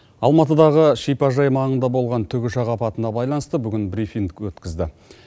алматыдағы шипажай маңында болған тікұшақ апатына байланысты бүгін брифинг өткізді